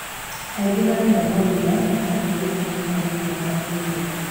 Aingi marenda mawira na maraigua ta ikonomi ndiramateithia."